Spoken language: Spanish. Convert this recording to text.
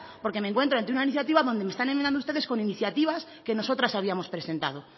porque me encuentro ante una iniciativa donde me están enmendando ustedes con iniciativas que nosotras habíamos presentado